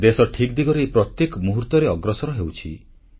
ଦେଶ ଠିକ୍ ଦିଗରେ ପ୍ରତ୍ୟେକ ମୁହୂର୍ତ୍ତରେ ଅଗ୍ରସର ହେଉଛି